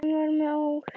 Hann var með ól.